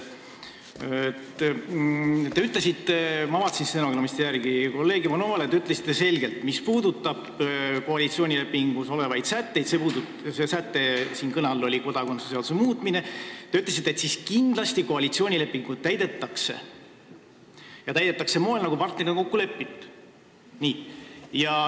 Te ütlesite – ma vaatasin stenogrammist järele – kolleeg Ivanovale selgelt, et mis puudutab koalitsioonilepingus olevaid sätteid – kõne all oli kodakondsuse seaduse muutmine –, siis kindlasti koalitsioonilepingut täidetakse ja täidetakse sel moel, nagu partnerid on kokku leppinud.